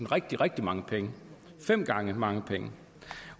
rigtig rigtig mange penge fem gange så mange penge